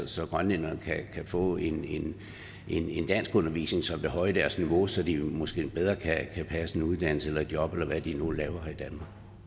så grønlænderne kan få en danskundervisning som vil højne deres niveau så de måske bedre kan passe en uddannelse eller et job eller hvad de nu laver her